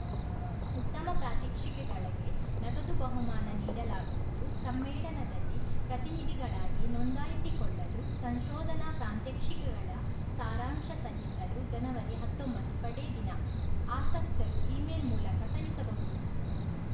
ಉತ್ತಮ ಪ್ರಾತ್ಯಕ್ಷಿಕೆಗಳಿಗೆ ನಗದು ಬಹುಮಾನ ನೀಡಲಾಗುವುದು ಸಮ್ಮೇಳನದಲ್ಲಿ ಪ್ರತಿನಿಧಿಗಳಾಗಿ ನೋಂದಾಯಿಸಿಕೊಳ್ಳಲು ಸಂಶೋಧನಾ ಪ್ರಾಂತ್ಯಕ್ಷಿಕೆಗಳ ಸಾರಾಂಶ ಸಲ್ಲಿಸಲು ಜನವರಿಹತ್ತೊಂಬತ್ತು ಕಡೇ ದಿನ ಆಸಕ್ತರು ಇ ಮೇಲ್‌ ಮೂಲಕ ಕಳುಹಿಸಬಹುದು